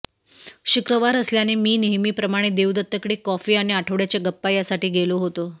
शुक्रवार असल्याने मी नेहमीप्रमाणे देवदत्तकडे कॉफी आणि आठवड्याच्या गप्पा यासाठी गेलो होतो